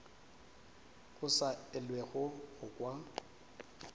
go sa elwego go kwa